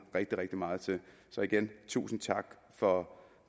rigtig rigtig meget til så igen tusind tak for